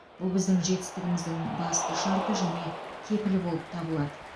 бұл біздің жетістігіміздің басты шарты және кепілі болып табылады